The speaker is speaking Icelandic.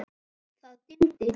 Það dimmdi.